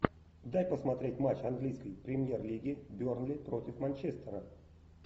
дай посмотреть матч английской премьер лиги бернли против манчестера